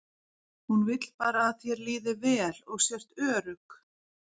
Hún vill bara að þér líði vel og sért örugg.